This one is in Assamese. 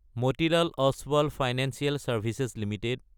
Motilal Oswal financial services Ltd